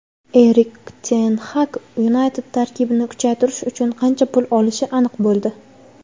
Erik Ten Xag "United" tarkibini kuchaytirish uchun qancha pul olishi aniq bo‘ldi.